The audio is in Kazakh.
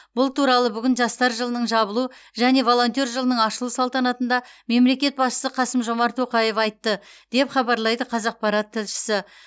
бұл туралы бүгін жастар жылының жабылу және волонтер жылының ашылу салтанатында мемлекет басшысы қасым жомарт тоқаев айтты деп хабарлайды қазақпарат тілшісі